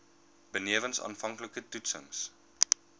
benewens aanvanklike toetsings